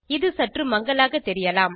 இது சற்று மங்கலாக தெரியலாம்